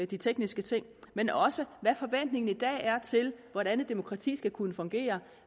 de tekniske ting men også hvad forventningen i dag er til hvordan et demokrati skal kunne fungere